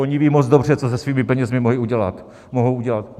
Oni vědí moc dobře, co se svými penězi mohou udělat.